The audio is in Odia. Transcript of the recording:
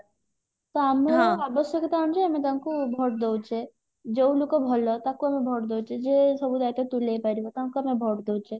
ତ ଆମେ ଆବଶ୍ୟକତା ଅନୁଯାଇ ଆମେ ତାଙ୍କୁ vote ଦଉଛେ ଯଉ ଲୁକ ଭଲ ତାକୁ ଆମେ vote ଦଉଛେ ଯିଏ ସବୁ ଦାଇତ୍ଵ ତୁଲେଇପାରିବ ତାଙ୍କୁ ଆମେ vote ଦଉଛେ